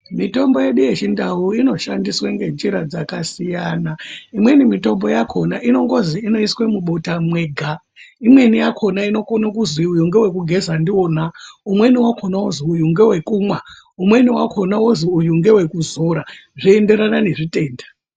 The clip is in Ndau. Mitombo yedu yechiNdau inoshandiswa ngenjira dzakasiyana. Imweni mitombo yakona inongozi inoiswe mubota mwega. Imweni yakona inokona kuzi uyu ngewekugeza ndiwona. Umweni wakona wozi uyu ngewekumwa. Umweni wakona wozi uyu ngewekuzora, zvoenderana ngezvitenda.